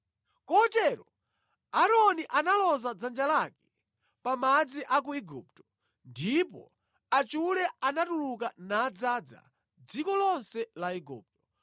Kotero Aaroni analoza dzanja lake pa madzi a ku Igupto, ndipo achule anatuluka nadzaza dziko lonse la Igupto.